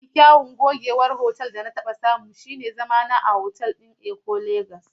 Mafi kyawun gogewar otal da na taɓa samu shine zamana a otal ɗin Eko Lagos.